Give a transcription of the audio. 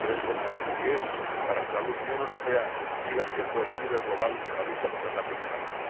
lo importante que es que la Unión Europea siga siendo el líder global en la lucha contra el cambio climático.